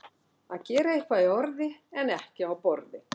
Að gera eitthvað í orði en ekki á borði